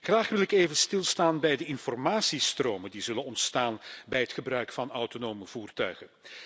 Graag wil ik even stilstaan bij de informatiestromen die zullen ontstaan bij het gebruik van autonome voertuigen.